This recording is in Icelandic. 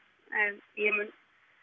en ég mun